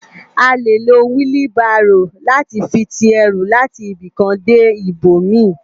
À lé ló wili báró làti fi ti èrú làti ibikán dé ibómi